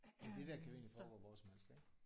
Men det der kan jo egentlig foregå hvor som helst ik